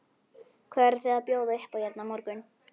Hvað eruð þið að bjóða upp á hérna á morgun?